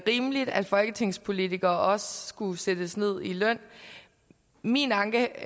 rimeligt at folketingspolitikere også skulle sættes ned i løn min anke